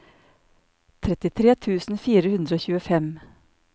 trettitre tusen fire hundre og tjuefem